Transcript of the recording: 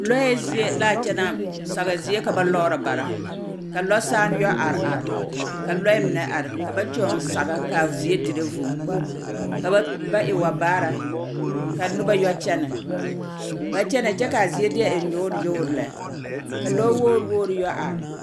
Lɔɛɛ zie laa kyɛ na, saba zie ka ba lɔɔrɔ bara. Ka lɔsaane yɔ are are ka lɔɛɛ mine are ka ba kyõõ saga kaa zie dire vūū. Ka ba, ba e wa baara ka noba yɔ kyɛnɛ Ba kyɛnɛ kyɛ kaa zie deɛ e nyoor nyoor lɛ. Ka lɔwoor woor yɔ are.